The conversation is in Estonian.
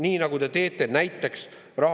Siin on ridamisi muid asju ka.